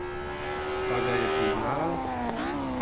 Pa ga je priznala?